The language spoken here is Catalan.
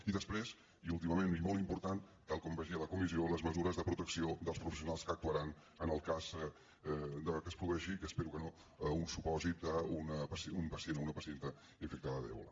i després i últimament i molt important tal com vaig dir a la comissió les mesures de protecció dels professionals que actuaran en el cas que es produeixi que espero que no un supòsit d’un pacient o una pacient infectada d’ebola